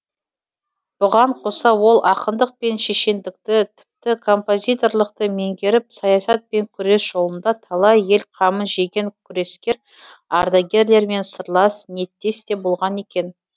бұған қоса ол ақындық пен шешендікті тіпті композиторлықты меңгеріп саясат пен күрес жолында талай ел қамын жеген күрескер ардагерлермен сырлас ниеттес те болған екен